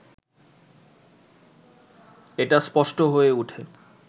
এটা স্পষ্ট হয়ে ওঠে